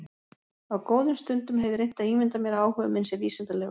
Á góðum stundum hef ég reynt að ímynda mér að áhugi minn sé vísindalegur.